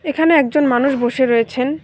এখানে একজন মানুষ বসে রয়েছেন।